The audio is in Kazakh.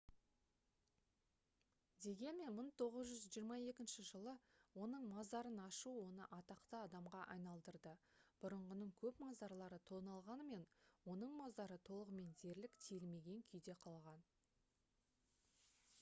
дегенмен 1922 жылы оның мазарын ашу оны атақты адамға айналдырды бұрынғының көп мазарлары тоналғанымен оның мазары толығымен дерлік тиілмеген күйде қалған